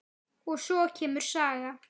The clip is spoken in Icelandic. Og svo kemur saga